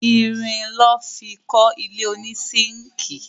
Irin lọ́ fi kọ́ ilé ònísínkìì